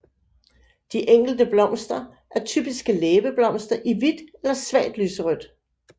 De enkelte blomster er typiske læbeblomster i hvidt eller svagt lyserødt